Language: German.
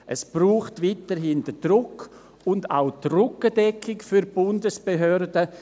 Es braucht weiterhin den Druck und auch die Rückendeckung für die Bundesbehörden.